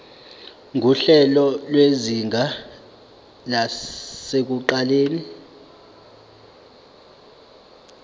nguhlelo lwezinga lasekuqaleni